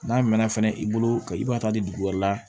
N'a mɛnna fɛnɛ i bolo ka i b'a ta di dugu wɛrɛ la